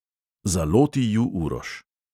Zaloti ju uroš.